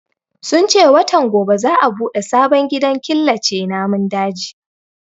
Sun ce watan gobe za a bude sabon gidan killace namun dajin